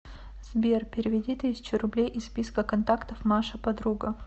сбер переведи тысячу рублей из списка контактов маша подруга